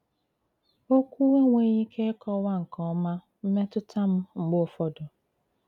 Òkwù ènweghị ìkè ịkọwà nke òma mmètùtà m mg̀bè ụfọdụ. ”